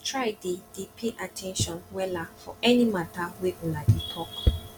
try dey dey pay at ten tion wella for any mata wey una dey talk